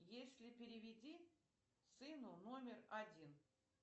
если переведи сыну номер один